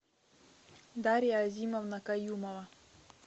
дарья азимовна каюмова